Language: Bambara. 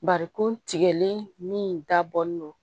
Barikon tigɛlen min dabɔlen don